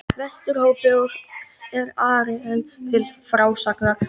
Vesturhópi, og er Ari enn til frásagnar